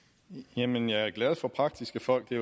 jamen jeg er glad for praktiske folk det